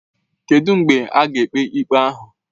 Kedụ mgbe a ga-ekpe ikpe ahụ?